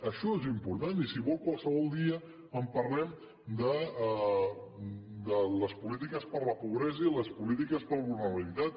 això és important i si vol qualsevol dia en parlem de les polítiques per la pobresa i les polítiques per la vulnerabilitat